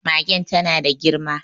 Magen ta na da girma.